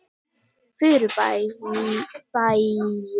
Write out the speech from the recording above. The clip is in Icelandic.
Furubergi